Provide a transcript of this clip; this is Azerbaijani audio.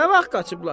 Nə vaxt qaçıblar?